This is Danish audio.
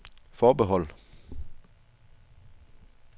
forbehold